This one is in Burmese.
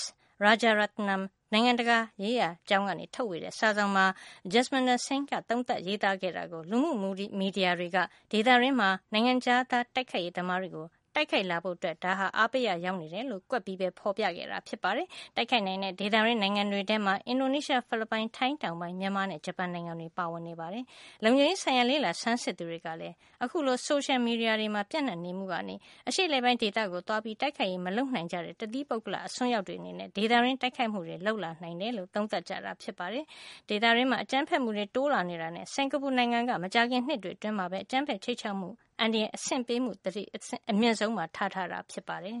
S. Rajaratnam နိုင်ငံတကာရေးရာကျောင်းက ထုတ်ဝေတဲ့ စာစောင်မှာ Jasminder Singh ရဲ့ သုံးသပ် ရေးသားခဲ့တာကို လူမှုမီဒီယာတွေက ဒေသတွင်းနိုင်ငံတွေထဲက ဒီ ၂ နိုင်ငံမှာ နိုင်ငံခြားသား တိုက်ခိုက်ရေး သမားတွေ တိုက်ခိုက်လာဖို့အတွက် အားပေးရာ ရောက်နေတယ်လို့ ကွက်ပြီး ဖေါ်ပြခဲ့တာ ဖြစ်ပါတယ်။ တခြား တိုက်ခိုက်နိုင်တဲ့ ဒေသတွင်းနိုင်ငံတွေ ထဲမှာ အင်ဒိုနီးရှား၊ ဖိလစ်ပိုင်၊ ထိုင်းတောင်ပိုင်း၊ မြန်မာနဲ့ ဂျပန်နိုင်ငံတွေ ပါဝင်နေတာပါ။ လုံခြုံရေး ဆိုင်ရာ လေ့လာဆန်းစစ်သူတွေကလည်း အခုလို ဆိုရှယ်မီဒီယာတွေမှာ ပြန့်နှံ့နေမှုကနေ အရှေ့အလယ်ပိုင်း ဒေသကို သွားပြီး တိုက်ခိုက်ရေး မလုပ်နိုင်ကြတဲ့ တသီးပုဂ္ဂလ အစွန်းရောက်တွေအနေနဲ့ ဒေသတွင်းမှာ တိုက်ခိုက်မှုတွေ လုပ်ဖို့ အားပေးရာ ရောက်နေတယ်လို့ သုံးသပ်ကြပါတယ်။ ဒေသတွင်းမှာ အကြမ်းဖက်မှုတွေ တိုးလာနေတာမို့ စင်္ကာပူ နိုင်ငံက မကြာခင် နှစ်တွေ အတွင်းမှာပဲ အကြမ်းဖက် ခြိမ်းခြောက်မှု အန္တရာယ် သတိပေး အဆင့်ကို အမြင့်ဆုံး သတ်မှတ်ထားတာ ဖြစ်ပါတယ်။